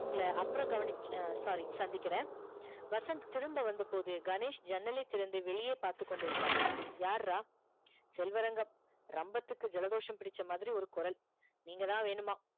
உங்கள அப்பறம் கவனிச் sorry சந்திக்கிற வசந்த் திரும்ப வந்த போது கணேஷ் ஜன்னலை திறந்து வெளியே பாத்துகொண்டு இருந்தான் யார் ரா செல்வரங்கம் ரம்பத்துக்கு ஜலதோஷம் புடிச்சாமாதிரி ஒரு குரல் நீங்கதா வேணுமா